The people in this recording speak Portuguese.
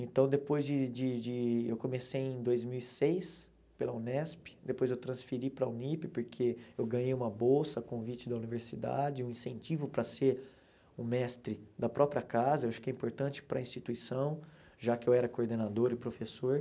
Então, depois de de de eu comecei em dois mil e seis pela Unesp, depois eu transferi para a Unip, porque eu ganhei uma bolsa, convite da universidade, um incentivo para ser o mestre da própria casa, eu acho que é importante para a instituição, já que eu era coordenador e professor.